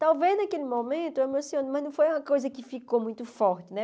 Talvez naquele momento eu emocione, mas não foi uma coisa que ficou muito forte, né?